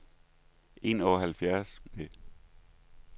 enoghalvtreds